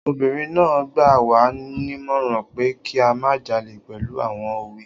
Obìnrin náà gbà wá nímọ̀ràn pé kí a má jalè pẹ̀lú àwọn òwe